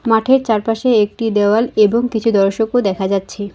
মাঠের চারপাশে একটি দেওয়াল এবং কিছু দর্শকও দেখা যাচ্ছে।